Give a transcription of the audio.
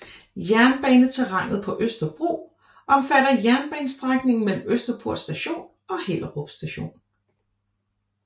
Jernbaneterrænet på Østerbro omfatter jernbanestrækningen mellem Østerport Station og Hellerup Station